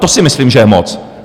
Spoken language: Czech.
To si myslím, že je moc.